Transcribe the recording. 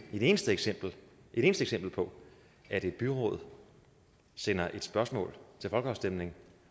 et eneste eksempel eksempel på at et byråd sender et spørgsmål til folkeafstemning